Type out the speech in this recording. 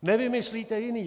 Nevymyslíte jiné.